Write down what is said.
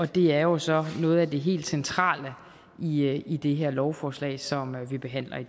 det er jo så noget af det helt centrale i i det her lovforslag som vi behandler i